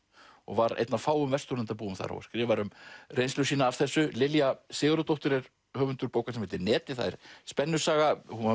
og var einn af fáum Vesturlandabúum þar og skrifar um reynslu sína af þessu Lilja Sigurðardóttir er höfundur bókar sem heitir netið það er spennusaga hún var